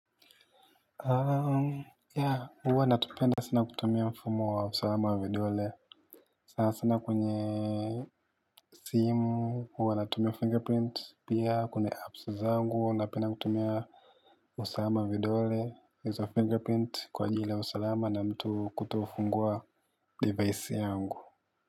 Huwa natupenda sana kutumia mfumo wa usalama wa vidole. Sana sana kwenye simu, huwa natumia fingerprint pia kuna apps zangu huwa napenda kutumia usalama wa vidole kwa ajili ya usalama na mtu kutofungua device yangu.